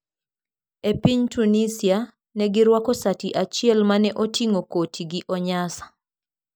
E piny Tunisia, ne girwako sati achiel ma ne oting'o koti gi onyasa.